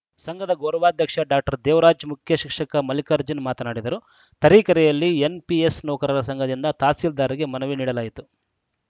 ಸಂಘದ ಗೌರವಾಧ್ಯಕ್ಷ ಡಾಕ್ಟರ್ ದೇವರಾಜ್‌ ಮುಖ್ಯ ಶಿಕ್ಷಕ ಮಲ್ಲಿಕಾರ್ಜುನ್‌ ಮಾತನಾಡಿದರು ತರೀಕೆರೆಯಲ್ಲಿ ಎನ್‌ಪಿಎಸ್‌ ನೌಕರರ ಸಂಘದಿಂದ ತಹಸೀಲ್ದಾರ್‌ಗೆ ಮನವಿ ನೀಡಲಾಯಿತು